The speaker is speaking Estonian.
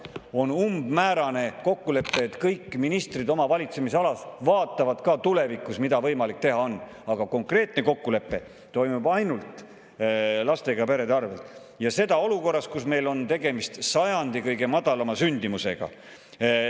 On umbmäärane kokkulepe, et kõik ministrid oma valitsemisalas vaatavad ka tulevikus, mida on võimalik teha, aga konkreetne kokkulepe toimub ainult lastega perede arvel, ja seda olukorras, kus meil on tegemist sajandi kõige madalama sündimusega.